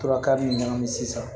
Tora ka min ɲagami sisan